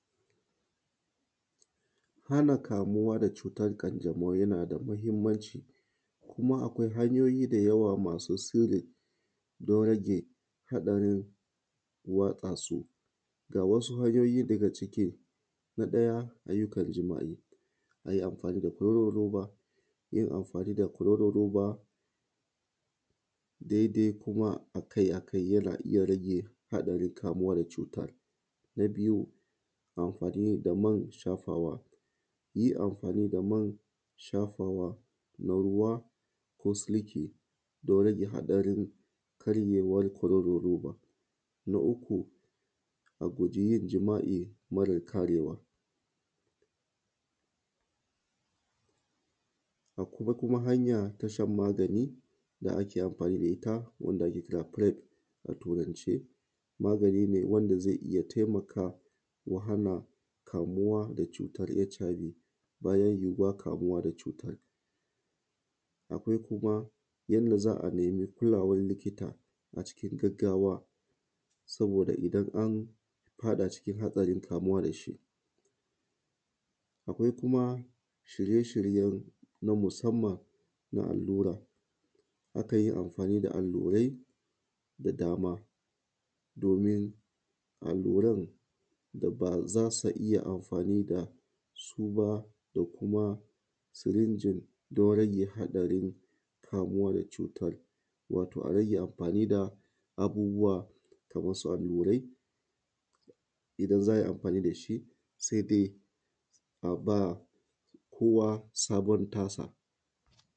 Hana kamuwa da cutan ƙanjamau yana da mahinmanci kuma akwai hanyoyi da yawa masu sirri don rage haɗarin watsa su. Ga wasu hanyoyi daga ciki: na ɗaya ayyukan jima’I, yin amfani da ƙwaroron ruba daidai kuma a kai yana rage yawan haɗarin kamuwa da cutan, na biyu amfani da man shafawa yi amfani da man shafawa na ruwa don rage haɗarin karyewan kororon ruba, na uku a guje yin jima’i mare karewa, akwai kuma hanya na shan magani da ake amfani da ita firem a Turance magani ne wanda zai iya taimaka ya hana kamuwa da cutan hiv, bayan kamuwa da cutan akwai kuma yanda za a nima kulawan likita a cikin gaggawa da bo da idan an faɗa cikin haɗarin kamuwa da shi akwai kuma shirye-shiye na musanman na allura, akan yi amfani da allurai da dama domin alluaran da ba za su iya amfani da su ba da kuma jirinjin don rage haɗarin kamuwa da cutan wato a rage amfani da abubuwa kaman su allurai idan za a yi amfani da shi sai dai a ba kowa sabon tasa.